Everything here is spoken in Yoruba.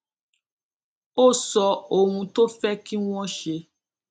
ó sọ ohun tó fé kí wón ṣe